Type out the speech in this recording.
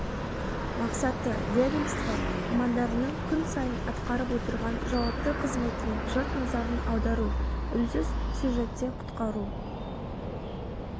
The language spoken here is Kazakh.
мақсаты ведомство мамандарының күн сайын атқарып отырған жауапты қызметіне жұрт назарын аудару үнсіз сюжетте құтқару